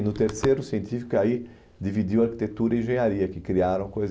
E no terceiro, científico, que aí dividiu arquitetura e engenharia, que criaram coisas.